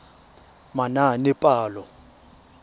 manaanepalo